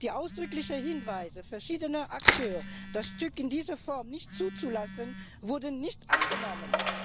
Die ausdrücklichen Hinweise verschiedener Akteure, das Stück in dieser Form nicht zuzulassen, wurden nicht angenommen.